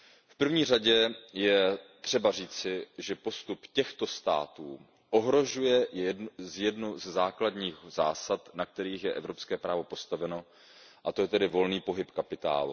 V první řadě je třeba říci, že postup těchto států ohrožuje jednu ze základních zásad, na kterých je evropské právo postaveno, a to je volný pohyb kapitálu.